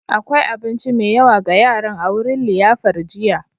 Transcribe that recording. Akwai abinci mai yawa ga yaran a wurin liyafar jiya.